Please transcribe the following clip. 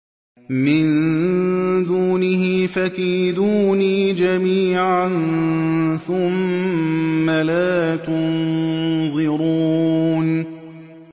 مِن دُونِهِ ۖ فَكِيدُونِي جَمِيعًا ثُمَّ لَا تُنظِرُونِ